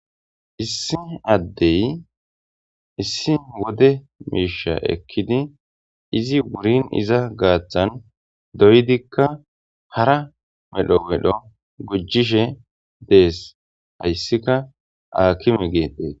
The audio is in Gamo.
issi addey issi wode miisha ekkidi izi wurin iza gaaththan doydikka hara medho medho gujishe dees hayssika aakime geetdees